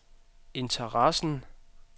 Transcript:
interessen